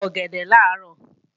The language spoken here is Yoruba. Mo jẹ ọ̀gẹ̀dẹ̀ làárọ̀